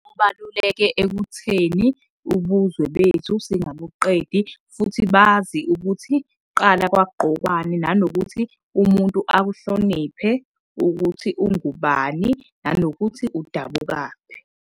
Kubaluleke ekutheni ubuzwe bethu singabuqedi futhi bazi ukuthi kuqala kwakugqokwani nanokuthi umuntu akuhloniphe ukuthi ungubani, nanokuthi udabukaphi.